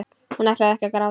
Hún ætlar ekki að gráta.